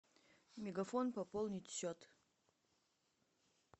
мегафон пополнить счет